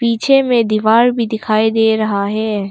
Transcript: पीछे मे दीवार भी दिखाई दे रहा है।